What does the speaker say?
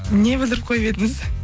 не бүлдіріп қойып едіңіз